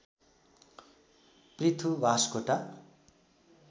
Prithu Baskota